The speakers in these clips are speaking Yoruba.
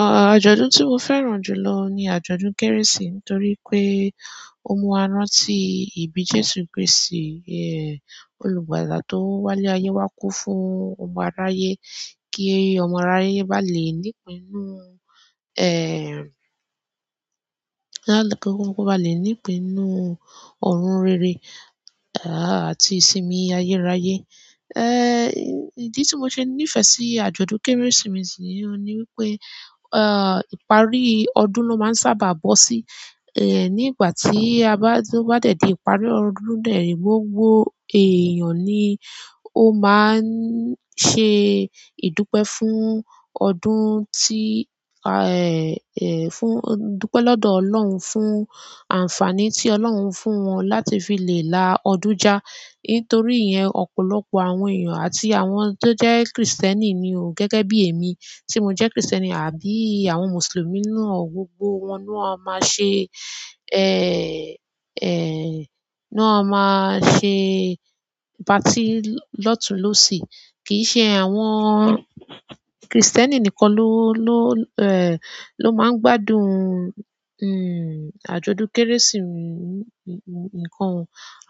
À, àjọ̀dún tí mo fẹ́ràn jù lọ ni àjọ̀dún Kérésì nítorí pé ó mú wa rán tí ìbí Jésù Kristì, ẹ, olùgbàlà tó wálé ayé wá kú fún ọmọ aráyé kí ọmọ aráyé bá lè ní ìpinnu, ẹ, bá lè ní ìpinnu ọ̀run rere, à, àti ìsinmi ayérayé. Ẹ, ìdí tí mo ṣe nífẹ̀ẹ́ sí àjọ̀dún Kérésìmesì ni pé, à, ìparí ọdún ló máa ń sábà bọ́ sí, ẹ, nígbà tí a bá, tí ó bá dé dé ìparí ọdún náà rí gbogbo èèyàn ni ó máa ń ṣe ìdúpẹ́ fún ọdún tí, à, è, fún, dúpẹ́ lọ́dọ̀ Ọlọ́run fún àǹfààní tí Ọlọ́run fún wọn láti fi lè la ọdún já. Nítorí yẹn, ọ̀pọ̀lọpọ̀ àwọn èèyàn àti àwọn tó jẹ́ Kristẹni ni o gẹ́gẹ́ bí èmi tí mo jẹ́ Kristẹni àbí àwọn Mùsùlùmí náà gbogbo wọn náà máa ṣe, ẹ, ẹ, náà máa ṣe patí lọ́tùú-lósì. Kì í ṣe àwọn Kristẹni nìkan ló, ló, ẹ, ló máa ń gbádùn, hm, àjọ̀dún Kérésì. Ǹkan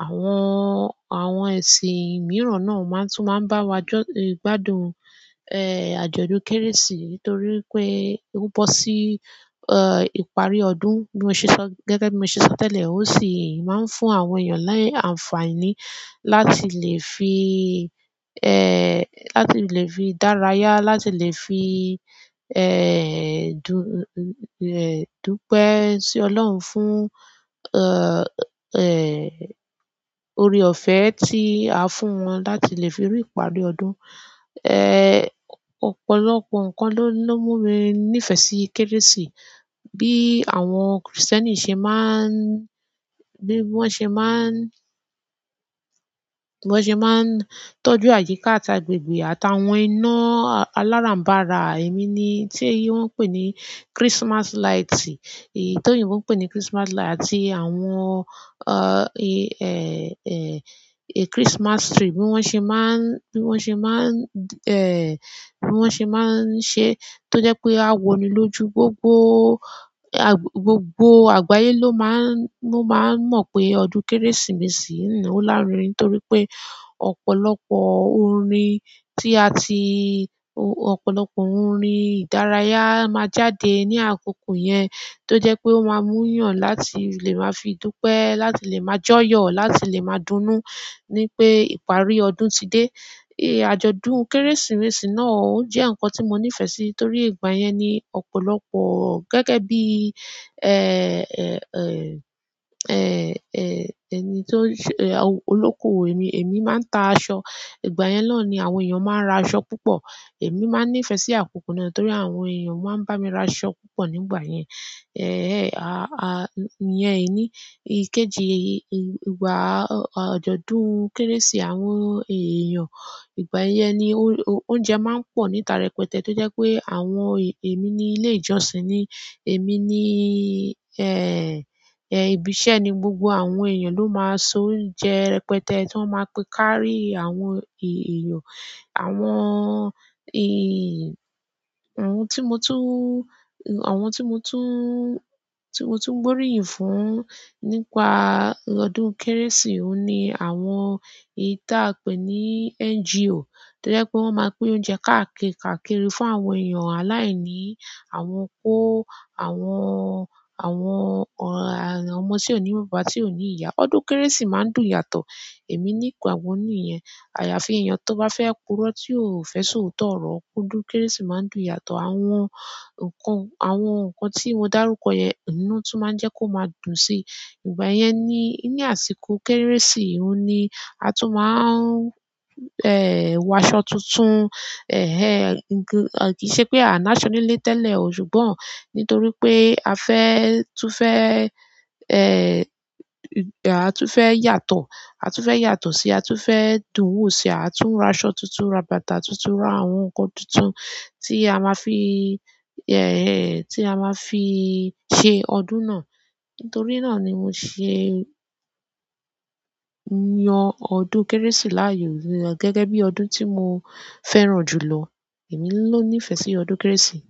àwọn, àwọn ẹ̀sìn mìíràn náà máa ń tún máa ń bá wa gbọ́, gbádùn, ẹ, àjọ̀dún Kérésì nítorí pé ó bọ́ sí, ẹ, ìparí ọdún bí mo ṣe sọ, gẹ́gẹ́ bí mo ṣe sọ tẹ́lẹ̀. Mosi maa n fún àwọn èyán ni àǹfààní láti le fi láti le fi daraya láti le fi e dupe si olohun fún e. Orí ọ̀fẹ́ tí a fún wọn láti lè fi rí ìparí ọdún. Ẹ, ọ̀pọ̀lọpọ̀ ǹkan ló, ló mú mi nífẹ̀ẹ́ sí kérésì. Bí àwọn Kristẹni ṣe máa ń, bí wọ́n ṣe máa ń, bí wọ́n ṣe máa ń tọ́jú àyíká àti agbègbè àti àwọn iná aláràǹbàrà, èmi ni, tí wọ́n ń pè ní Christmas light. Èyí tó yìnbo pè ní Christmas light àti àwọn, à, ẹ, ẹ, ẹ, Christmas tree bí wọ́n ṣe máa ń, bí wọ́n ṣe máa ń, ẹ, bí wọ́n ṣe máa ń ṣe tó jẹ́ pé a wò ni lójú gbogbo, à, gbogbo àgbáyé ló máa ń, ló máa ń mọ̀ pé ọdún Kérésìmesì náà ńlá ni nítorí pé ọ̀pọ̀lọpọ̀ orin tí a ti, ọ̀pọ̀lọpọ̀ orin ìdárayá máa jáde ní àkókò yẹn tó jẹ́ pé ó máa mú yàn láti lè máa fi dúpẹ́, láti lè máa jọ́yọ̀, láti lè máa dúnú ní pé ìparí ọdún ti dé. Ẹ, àjọ̀dún Kérésìmesì náà ó jẹ́ ǹkan tí mo nífẹ̀ẹ́ sí torí ìgbà yẹn ni ọ̀pọ̀lọpọ̀ gẹ́gẹ́ bí, ẹ, ẹ, ẹ, ẹ, ẹni tó ń ṣe, olóko èmi, èmi máa ń ta aṣọ. Ìgbà yẹn ló ni àwọn èèyàn máa ń ra aṣọ púpọ̀. Èmi máa ń nífẹ̀ẹ́ sí àkókò náà torí àwọn èèyàn máa ń bá mi ra aṣọ púpọ̀ nígbà yẹn. Ẹ̀ẹ̀, à, à, yẹn ìní. Kejì, ìgbà àjọ̀dún Kérésì àwọn èèyàn ìgbà yẹn ni oúnjẹ máa ń pọ̀ níta rẹpẹtẹ tó jẹ́ pé àwọn èmi ní ilé ìjọsìn ni, èmi ni, ẹ, ẹ, ibi iṣẹ́ ni gbogbo àwọn èèyàn ló máa sọ oúnjẹ rẹpẹtẹ tó máa ń píkarí àwọn èèyàn. Àwọn, ẹ, àwọn tí mo tún, àwọn tí mo tún, tí mo tún gbóríyìn fún nípa ọdún Kérésì ni àwọn èyí tí a ń pè ní NGO tó jẹ́ pé wọ́n máa pín oúnjẹ káàkiri, káàkiri fún àwọn èèyàn aláìní, àwọn kó àwọn, àwọn ọmọ tí ó ní bàbá tí ò ní ìyá. Ọdún Kérésì máa ń dùn yàtọ̀. Emi ni àyàfi èèyàn tó bá fẹ́ kúró tí ò fẹ́ sọ òótọ́ ọ̀rọ̀, ọdún Kérésì máa ń dùn yàtọ̀. Àwọn ǹkan, àwọn ǹkan tí mo dárúkọ yẹn oun lo tún máa ń jẹ́ kó máa dùn sí. Ìgbà yẹn ni ní àsìkò Kérésì oun ni a tún máa ń, ẹ, wọ aṣọ tuntun. Ẹ̀ẹ̀, kì í ṣe pé a náà ṣe nílé tẹ́lẹ̀ ṣùgbọ́n nítorí pé a fẹ́, tún fẹ́, a tun fe yàtọ̀ a tun fe yàtọ̀ si a tun fe dùn wo si a tun raso tuntun ra bàtà tuntun. Àwọn ǹkan tuntun tí a máa fi, ẹ, tí a máa fi ṣe ọdún náà. Nítorí náà ni mo ṣe ń yan ọdún Kérésì láàyò gẹ́gẹ́ bí ọdún tí mo fẹ́ràn jù lọ. Èmi ló nífẹ̀ẹ́ sí ọdún Kérésì.